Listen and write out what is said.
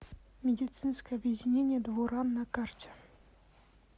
медицинское объединение дво ран на карте